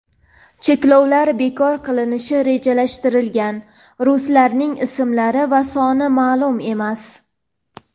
Cheklovlar bekor qilinishi rejalashtirilgan ruslarning ismlari va soni ma’lum emas.